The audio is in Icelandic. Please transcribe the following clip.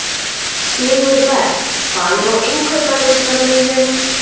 Sigurberg, hvað er á innkaupalistanum mínum?